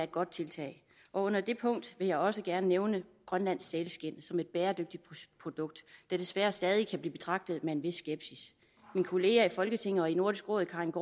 godt tiltag og under det punkt vil jeg også gerne nævne grønlands sælskind som et bæredygtigt produkt der desværre stadig kan blive betragtet med en vis skepsis min kollega i folketinget og i nordisk råd karin